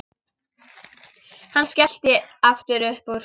Hann skellti aftur upp úr.